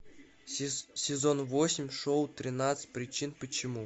сезон восемь шоу тринадцать причин почему